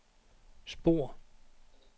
spor